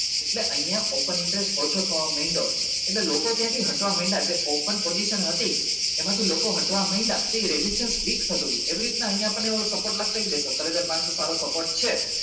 એટલે અહિયાં open interest ઓછો થવા માંડ્યો એટલે લોકો ત્યાંથી હટવા માંડ્યા જે open position હતી એમાં થી લોકો હટવા માંડ્યા તો એ ragistrastion week થતું હતું એવી રીત ના અહિયાં આપણને ને ઓલો support લગતો એ સત્તર હજાર પાંચસો સારો support છે